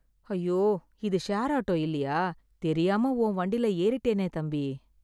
ஐயோ, இது share auto இல்லயா? தெரியாம உன் வண்டில ஏறிட்டேனே தம்பி.